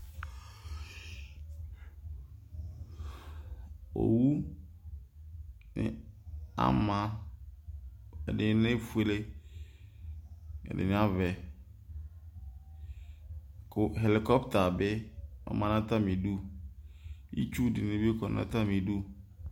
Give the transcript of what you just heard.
Owu ama, ɛdini éfuélé, ɛdini aʋɛ, ku helcota bi ɔma nu atami du Itchu dini bi kɔ na atami du